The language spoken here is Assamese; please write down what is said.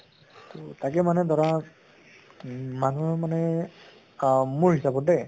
তʼ তাকে মানে ধৰা উম মানুহ মানে আহ মোৰ হিচাপত দে